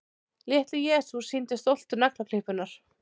Litli-Jesús sýndi stoltur naglaklippurnar.